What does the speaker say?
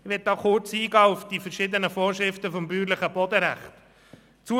Ich möchte an dieser Stelle kurz auf die verschiedenen Vorschriften des bäuerlichen Bodenrechts eingehen.